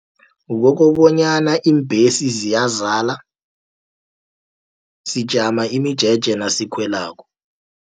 Wokobanyana iimbhesi ziyazala, sijama imijeje nasikhwelako.